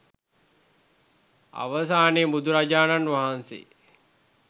අවසානයේ බුදුරජාණන් වහන්සේ